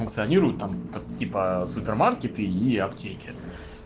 функционируют там типа супермаркеты и аптеке